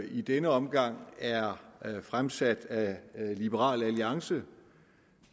i denne omgang er fremsat af liberal alliance